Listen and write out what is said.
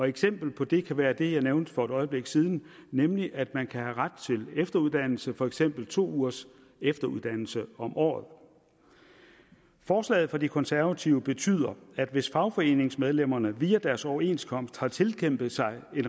eksempel på det kan være det jeg nævnte for et øjeblik siden nemlig at man kan have ret til efteruddannelse for eksempel to ugers efteruddannelse om året forslaget fra de konservative betyder at hvis fagforeningsmedlemmerne via deres overenskomst har tilkæmpet sig